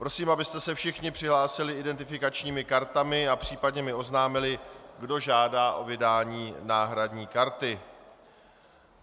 Prosím, abyste se všichni přihlásili identifikačními kartami a případně mi oznámili, kdo žádá o vydání náhradní karty.